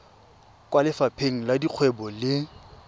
kwa lefapheng la dikgwebo le